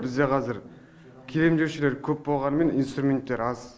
бізде қазір келем деушілер көп болғанымен инструменттер аз